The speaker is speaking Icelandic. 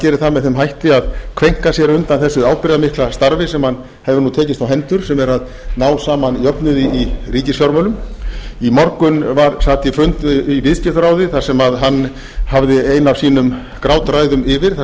geri það með þeim hætti að kveinka sér undan þessu ábyrgðarmikla starfi sem hann hefur tekist á hendur sem er að ná saman jöfnuði í ríkisfjármálum í morgun sat ég fund í viðskiptaráði þar sem hann hafði eina af sínum grátræðum yfir þar